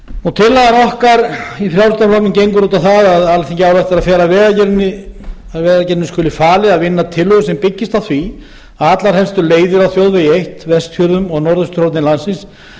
okkar í frjálslynda flokknum gengur út á það að alþingi ályktar að vegagerðinni skuli falið að vinna tillögur sem byggist á því að allar helstu leiðir á þjóðvegi eitt vestfjörðum og norðausturhorni landsins